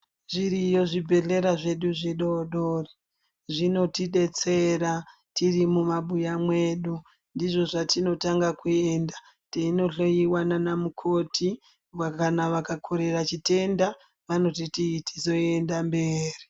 Zviriyo zvibhedhlera zvedu zvidodori. Zvinotidetsera tiri mumabuya mwedu. Ndizvo zvatinotanga kuenda teinohloiwa naanamukoti kana vakakorera chitenda ,vanotiti tizoenda mberi.